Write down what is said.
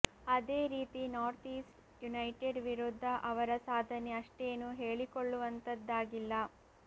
ಅದೇ ರೀತಿ North East United ವಿರುದ್ಧ ಅವರ ಸಾಧನೆ ಅಷ್ಟೇನು ಹೇಳಿಕೊಳ್ಳವಂತದ್ದಾಗಿಲ್ಲ